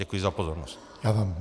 Děkuji za pozornost.